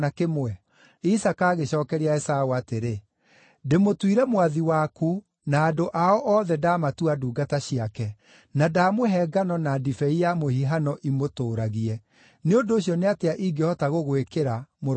Isaaka agĩcookeria Esaũ atĩrĩ, “Ndĩmũtuire mwathi waku na andũ ao othe ndaamatua ndungata ciake, na ndamũhe ngano na ndibei ya mũhihano imũtũũragie. Nĩ ũndũ ũcio nĩ atĩa ingĩhota gũgwĩkĩra, mũrũ wakwa?”